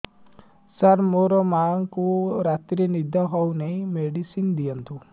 ସାର ମୋର ମାଆଙ୍କୁ ରାତିରେ ନିଦ ହଉନି ମେଡିସିନ ଦିଅନ୍ତୁ